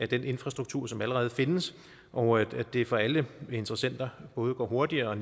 den infrastruktur som allerede findes og at det for alle interessenter både går hurtigere og